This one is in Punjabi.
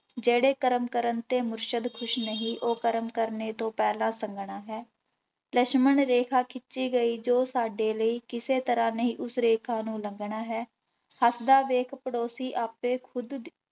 ਜਿਹੜੇ ਕਰਮ ਕਰਨ ਤੇ ਮੁਰਸ਼ਦ ਖ਼ੁਸ਼ ਨਹੀਂ ਉਹ ਕਰਮ ਕਰਨੇ ਤੋਂ ਪਹਿਲਾਂ ਸੰਗਣਾ ਹੈ, ਲਛਮਣ ਰੇਖਾ ਖਿੱਚੀ ਗਈ ਜੋ ਸਾਡੇ ਲਈ, ਕਿਸੇ ਤਰ੍ਹਾਂ ਨਹੀਂ ਉਸ ਰੇਖਾ ਨੂੰ ਲੰਘਣਾ ਹੈ, ਹੱਸਦਾ ਵੇਖ ਪੜੋਸੀ ਆਪੇ ਖੁੱਦ